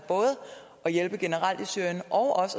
at hjælpe generelt i syrien og